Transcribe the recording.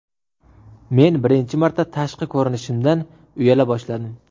Men birinchi marta tashqi ko‘rinishimdan uyala boshladim.